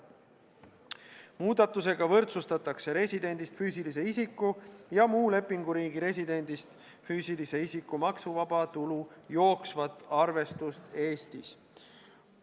Muudatusega võrdsustatakse residendist füüsilise isiku ja muu lepinguriigi residendist füüsilise isiku maksuvaba tulu jooksvat arvestust Eestis.